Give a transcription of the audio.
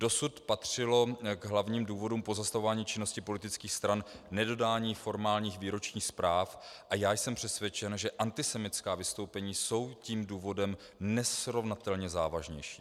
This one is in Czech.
Dosud patřilo k hlavním důvodům pozastavování činnosti politických stran nedodání formálních výročních zpráv a já jsem přesvědčen, že antisemitská vystoupení jsou tím důvodem nesrovnatelně závažnějším.